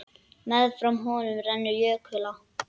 Meðfram honum rennur jökulá.